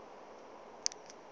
a se a ka a